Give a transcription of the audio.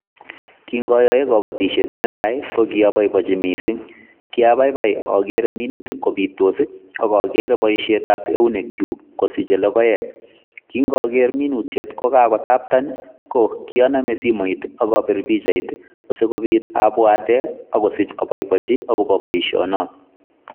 Kiin ayae boisiet netai ko kabaibajii missing kiabaibai agere minutik kobitos ii ak agere boisionik ak eunekyuuk kosichei logoek kiin ager minutiet ko kakotapten ko kiname simoit ak abiir pichait ii asikobiit abwateen akobiit abaibaichii boisioni nooot.